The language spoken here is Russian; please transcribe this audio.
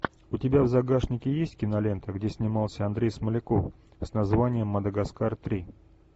у тебя в загашнике есть кинолента где снимался андрей смоляков с названием мадагаскар три